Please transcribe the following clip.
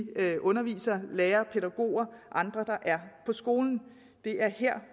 undervisere lærere og pædagoger og andre der er på skolen det er her